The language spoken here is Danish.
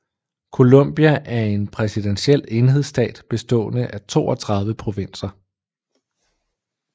Colombia er en præsidentiel enhedsstat bestående af 32 provinser